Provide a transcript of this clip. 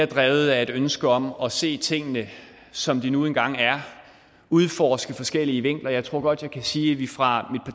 drevet af et ønske om at se tingene som de nu engang er og udforske forskellige vinkler jeg tror godt jeg kan sige at vi fra